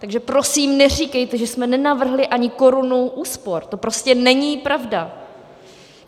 Takže prosím neříkejte, že jsme nenavrhli ani korunu úspor, to prostě není pravda.